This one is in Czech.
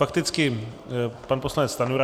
Fakticky pan poslanec Stanjura.